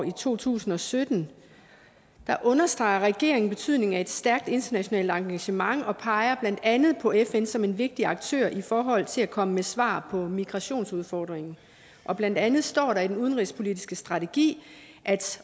år to tusind og sytten der understreger regeringen betydningen af et stærkt internationalt engagement og peger blandt andet på fn som en vigtig aktør i forhold til at komme med svar på migrationsudfordringen og blandt andet står der i den udenrigspolitiske strategi